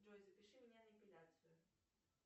джой запиши меня на эпиляцию